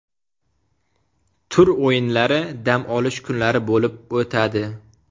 Tur o‘yinlari dam olish kunlari bo‘lib o‘tadi.